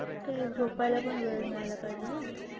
तेच झोपायला पण वेळ मिळायला पाहिजे ना